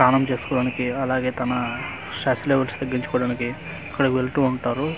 స్నానం చేసుకోవడానికి అలాగే తమ స్ట్రెస్ లెవెల్స్ తగ్గించుకోవడానికి అక్కడికి వెళ్తూ ఉంటారు.